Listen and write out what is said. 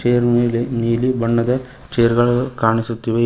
Chair ಮೇಲೆ ನೀಲಿ ಬಣ್ಣದ ಚೇರ್ ಗಳು ಕಾಣಿಸುತ್ತವೆ.